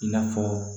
I n'a fɔ